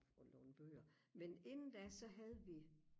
og låne bøger men inden da så havde vi